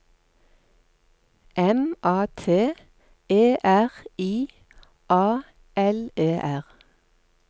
M A T E R I A L E R